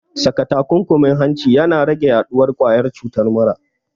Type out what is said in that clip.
Saka takunkumin hanci na rage yaɗuwar ƙwayar cutar mura